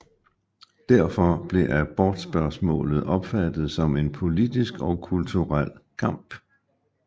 Derfor blev abortspørgsmålet opfattet som en politisk og kulturel kamp